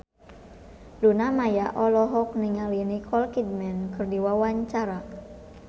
Luna Maya olohok ningali Nicole Kidman keur diwawancara